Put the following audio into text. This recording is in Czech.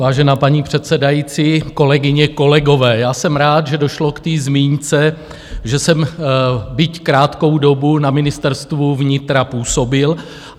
Vážená paní předsedající, kolegyně, kolegové, já jsem rád, že došlo k té zmínce, že jsem, byť krátkou dobu, na Ministerstvu vnitra působil.